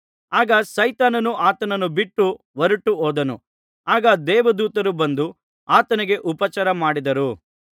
ಆಗ ಸೈತಾನನು ಆತನನ್ನು ಬಿಟ್ಟು ಹೊರಟು ಹೋದನು ಆಗ ದೇವದೂತರು ಬಂದು ಆತನಿಗೆ ಉಪಚಾರ ಮಾಡಿದರು